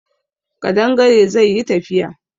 Ƙadangare zai yi tafiya